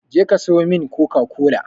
Je ka sayo min coca-cola!